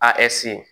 A